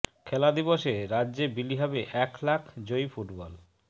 খেলা দিবসে রাজ্যে বিলি হবে এক লাখ জয়ী ফুটবল